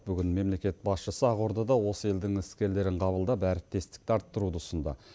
бүгін мемлекет басшысы ақордада осы елдің іскерлерін қабылдап әріптестікті арттыруды ұсынды